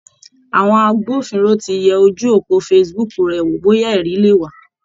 Àwọn agbófinró ti yẹ ojú òpó Facebook rẹ̀ wò bóyá ẹ̀rí leè wà.